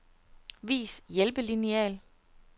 Vis hjælpelineal.